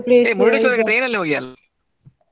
ಹೇ Murdeshwara ಕ್ಕೆ train ಅಲ್ಲಿ ಹೋಗಿ ಅಲ್ಲ.